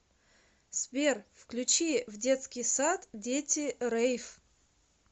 сбер включи в детский сад дети рейв